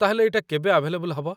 ତା'ହେଲେ ଏଇଟା କେବେ ଆଭେଲେବଲ୍ ହବ?